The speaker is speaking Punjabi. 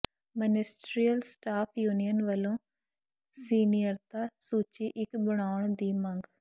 ਮਨਿਸਟਰੀਅਲ ਸਟਾਫ਼ ਯੂਨੀਅਨ ਵੱਲੋਂ ਸੀਨੀਅਰਤਾ ਸੂਚੀ ਇਕ ਬਣਾਉਣ ਦੀ ਮੰਗ